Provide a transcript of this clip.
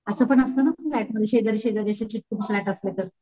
असं पण असत ना फ्लॅट मध्ये शेजारी शेजारी असे चिटकून फ्लॅट असले तर,